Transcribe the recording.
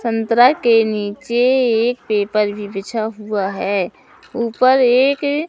संतरा के नीचे एक पेपर भी बिछा हुआ है ऊपर एक--